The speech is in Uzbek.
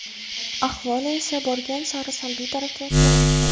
Ahvoli esa borgan sari salbiy tarafga o‘zgara boshlaydi.